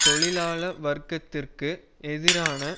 தொழிலாள வர்க்கத்திற்கு எதிரான